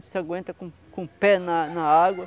Você aguenta com com o pé na na água.